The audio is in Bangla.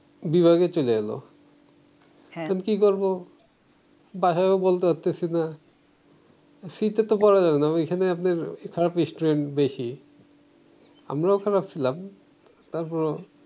বিভাগে চইলা আইলো কি করবো বাসায়ও বলতে পারতেসি না করা যাইবো না ঐখানে আপনার খারাপ স্টুডেন্ট বেশি আমরাও খারাপ ছিলাম তারপরো